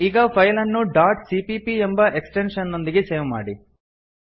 ಈಗ ಫೈಲ್ ಅನ್ನು dot CPP ಎಂಬ ಎಕ್ಸ್ಟೆಂಶನ್ ನೊಂದಿಗೆ ಸೇವ್ ಮಾಡಿ